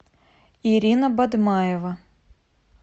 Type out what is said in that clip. ирина бадмаева